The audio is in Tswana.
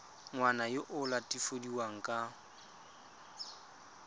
ngwana yo o latofadiwang ka